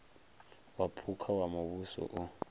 wa phukha wa muvhuso o